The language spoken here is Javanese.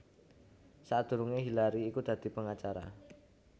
Sadurungé Hillary iku dadi pengacara